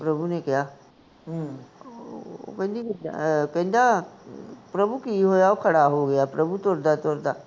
ਪ੍ਰਭੂ ਨੇ ਕਿਹਾ, ਉਹ ਕਹਿੰਦੀ, ਕਹਿੰਦਾ, ਪ੍ਰਭੂ ਕਿ ਹੋਇਆ, ਉਹ ਖੜਾ ਹੋ ਗਿਆ ਪ੍ਰਭੂ ਤੁਰਦਾ ਤੁਰਦਾ